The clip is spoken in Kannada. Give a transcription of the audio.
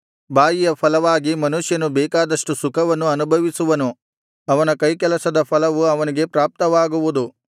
ಬಾಯಿಯ ಫಲವಾಗಿ ಮನುಷ್ಯನು ಬೇಕಾದಷ್ಟು ಸುಖವನ್ನು ಅನುಭವಿಸುವನು ಅವನ ಕೈಕೆಲಸದ ಫಲವು ಅವನಿಗೆ ಪ್ರಾಪ್ತವಾಗುವುದು